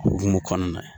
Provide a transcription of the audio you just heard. O hukumu kɔnɔna na